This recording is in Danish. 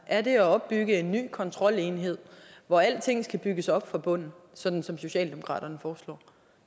er det at opbygge en ny kontrolenhed hvor alting skal bygges op fra bunden sådan som socialdemokraterne foreslår